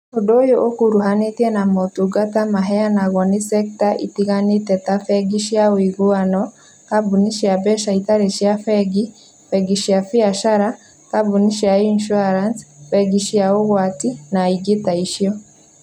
Ũndũ ũyũ ũkuruhunanĩtie na motungata maheanagwo nĩ sekta itiganĩte ta bengi cia ũiguano, kambuni cia mbeca itarĩ cia bengi, bengi cia biacara, kambuni cia insurance, bengi cia ũgwati, na ingĩ ta icio.